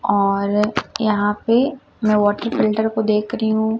और यहां पे मैं वाटर फिल्टर को देख री हूं।